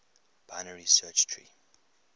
binary search tree